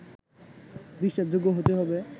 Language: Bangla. বিশ্বাসযোগ্য হতে হবে